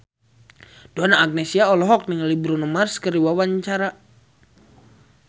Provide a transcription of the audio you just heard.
Donna Agnesia olohok ningali Bruno Mars keur diwawancara